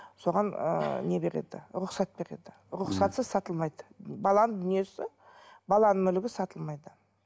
соған ыыы не беріледі рұқсат беріледі рұқсатсыз сатылмайды баланың дүниесі баланың мүлігі сатылмайды